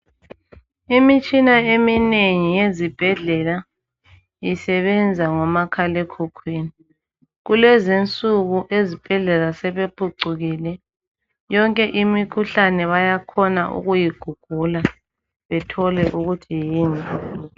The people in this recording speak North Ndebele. Imitshina eminengi yezibhedlela isebenza ngomakhalekhukhwini. Kulezinsuku ezibhedlela sebephucukile, yonke imikhuhlane bayakhona ukuyi gugula bethole ukuthi yini.